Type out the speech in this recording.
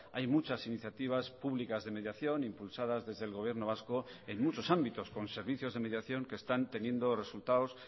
hay muchas iniciativas públicas de mediación impulsadas desde el gobierno vasco en muchos ámbitos con servicios de mediación que están teniendo resultados